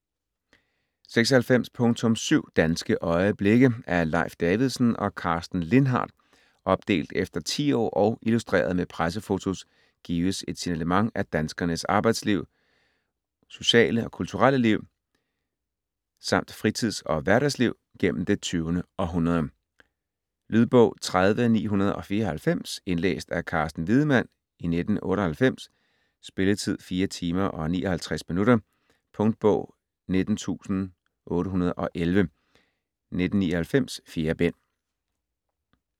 96.7 Danske øjeblikke Af Leif Davidsen og Karsten Lindhardt Opdelt efter tiår og illustreret med pressefotos gives et signalement af danskernes arbejdsliv, sociale og kulturelle liv samt fritids- og hverdagsliv gennem det 20. århundrede. Lydbog 30994 Indlæst af Carsten Wiedemann, 1998. Spilletid: 4 timer, 59 minutter. Punktbog 19811 1999.4 bind.